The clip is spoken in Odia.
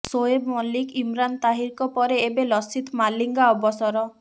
ସୋଏବ ମଲ୍ଲିକ ଇମ୍ରାନ ତାହିରଙ୍କ ପରେ ଏବେ ଲସିଥ ମାଲିଙ୍ଗା ଅବସର